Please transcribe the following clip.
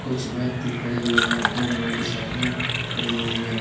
कुछ व्यक्ति खड़े हुए हैं दो मोटरसाइकिलें खड़ी हुई है।